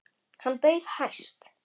Hann bauð hæst.